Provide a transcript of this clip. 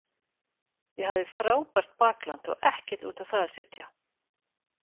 Ég hafði frábært bakland og ekkert út á það að setja.